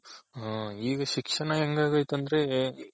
ಹ ಈಗ ಶಿಕ್ಷಣ ಹೆಂಗ್ ಆಗೈತ್ ಅಂದ್ರೆ